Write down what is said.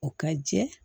O ka jɛ